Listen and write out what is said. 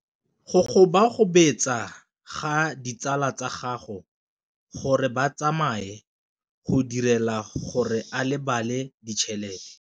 Go gobagobetsa ga ditsala tsa gagwe, gore ba tsamaye go dirile gore a lebale tšhelete.